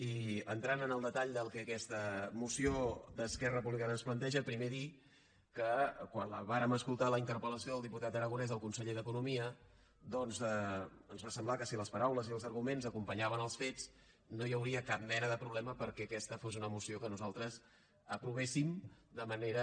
i entrant en el detall del que aquesta moció d’esquerra republicana ens planteja primer dir que quan vàrem escoltar la interpel·lació del diputat aragonès al conseller d’economia doncs ens va semblar que si les paraules i els arguments acompanyaven els fets no hi hauria cap mena de problema perquè aquesta fos una moció que nosaltres aprovéssim de manera